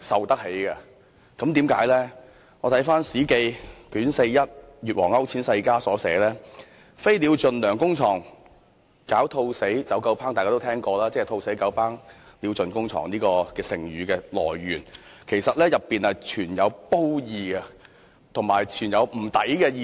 因為我翻閱《史記》卷四十一《越王勾踐世家》有云："飛鳥盡，良弓藏；狡兔死，走狗烹"，這話大家都聽過，亦即成語"兔死狗烹，鳥盡弓藏"的出處，而當中其實是存有褒義及感到不值的意思。